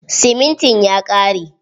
Siminti ya ƙare.